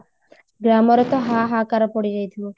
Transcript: ଗ୍ରାମରେ ତ ହାହାକାର ପଡିଯାଇ ଥିବ